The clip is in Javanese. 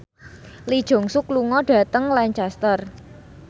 Lee Jeong Suk lunga dhateng Lancaster